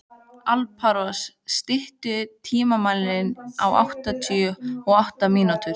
Alparós, stilltu tímamælinn á áttatíu og átta mínútur.